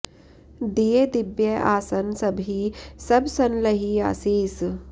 दिए दिब्य आसन सबहि सब सन लही असीस